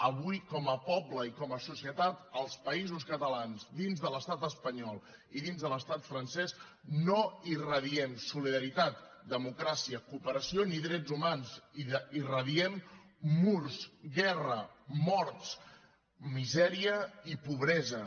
avui com a poble i com a societat els països catalans dins de l’estat espanyol i dins de l’estat francès no irradiem solidaritat democràcia cooperació ni drets humans irradiem murs guerra morts misèria i pobresa